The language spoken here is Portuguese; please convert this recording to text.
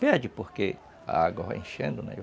Perde, porque a água vai enchendo, né?